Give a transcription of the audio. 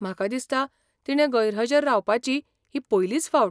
म्हाका दिसता तिणें गैरहजर रावपाची ही पयलीच फावट.